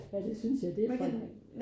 Ja det synes jeg det for langt